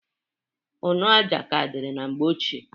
Ụnọ aja ka diri na mgbe ochie.